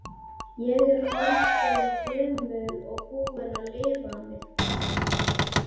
Ég er orðin gömul og búin að lifa mitt besta.